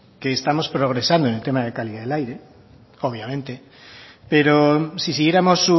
que estamos progresando en el tema de calidad de aire obviamente pero si siguiéramos